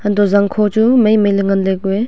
antoh zangkho chu mei mei ley nganley ku a.